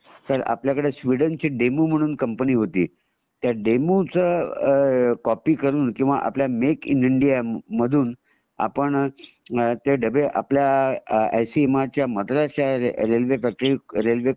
तर आपल्याकडे स्वीडन ची डेमो म्हणून कंपनी होती त्या डेमो च कॉपी करून किंवा आपल्या मेक इन इंडिया मधून आपण ते डब्बे आपल्या आय सी एम आर च्या मद्रास त्या रेल्वे